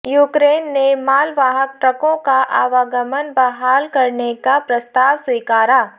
Ukraine ने मालवाहक ट्रकों का आवागमन बहाल करने का प्रस्ताव स्वीकारा